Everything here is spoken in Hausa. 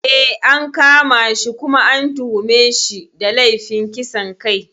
Eh, an kama shi kuma an tuhume shi da laifin kisan kai.